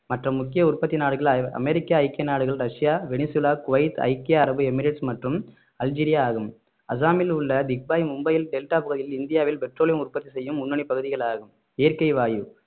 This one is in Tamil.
மற்ற முக்கிய உற்பத்தி நாடுகள் அ~ அமெரிக்க ஐக்கிய நாடுகள் ரஷ்யா வெனிசுலா குவைத் ஐக்கிய அரபு எமிரேட்ஸ் மற்றும் அல்ஜீரியா ஆகும் அஸ்ஸாமில் உள்ள திக்பாய் மும்பையில் டெல்டா பகுதியில் இந்தியாவில் பெட்ரோலியம் உற்பத்தி செய்யும் முன்னணி பகுதிகள் ஆகும் இயற்கை வாயு